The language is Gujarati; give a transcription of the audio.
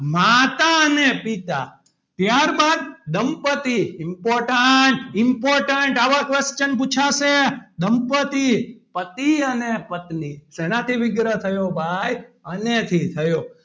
માતા અને પિતા ત્યારબાદ દંપતિ important important આવા question પુછાશે. દંપતિ પતિ અને પત્ની શેનાથી વિગ્રહ થયો ભાઈ અને થી થયો.